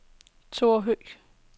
Thora Høgh